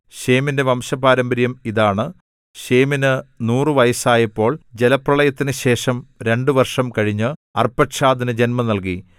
ശേമിന്റെ വംശപാരമ്പര്യം ഇതാണ് ശേമിന് നൂറു വയസ്സായപ്പോൾ ജലപ്രളയത്തിനുശേഷം രണ്ട് വർഷം കഴിഞ്ഞ് അർപ്പക്ഷാദിനു ജന്മം നൽകി